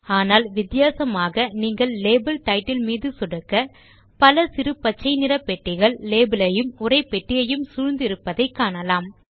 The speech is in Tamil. ஆனால் வித்தியாசமாக நீங்கள் லேபல் டைட்டில் மீது சொடுக்க பல சிறு பச்சை நிற பெட்டிகள் லேபல் ஐயும் உரைப்பெட்டியையும் சூழ்ந்து இருப்பதை காணலாம்